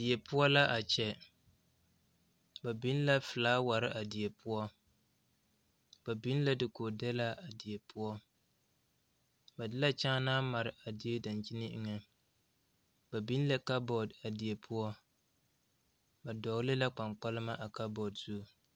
Die poɔ la a kyɛ ba biŋ la felaaware a die poɔ ba biŋ la dakoodɛlaa a die poɔ ba de la kyaa naa mare a die dankyini eŋa ba biŋ la kabɔɔ a die poɔ ba dɔgele la kpaŋkpama a kabɔɔ zu